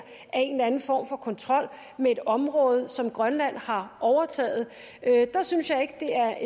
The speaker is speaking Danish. af en eller anden form for kontrol med et område som grønland har overtaget så synes jeg ikke det er